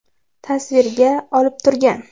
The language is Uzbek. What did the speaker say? tasvirga olib turgan.